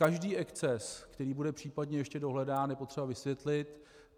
Každý exces, který bude případně ještě dohledán, je potřeba vysvětlit.